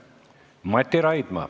Mati Raidma.